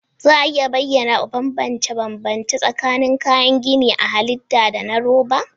Za a iya bayyana bambance-bambance tsakanin kayan gini na halitta da na roba?